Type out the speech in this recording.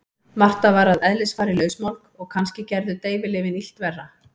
Marta var að eðlisfari lausmálg og kannski gerðu deyfilyfin illt verra.